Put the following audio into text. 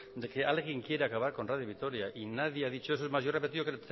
de que alguien quiere acabar con radio vitoria y nadie ha dicho eso es más yo he repetido tres